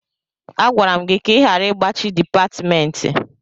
Agwara m gị ka ị ghara igbachi dipatịmentị.